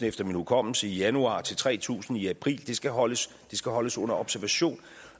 efter min hukommelse i januar til tre tusind i april det skal holdes skal holdes under observation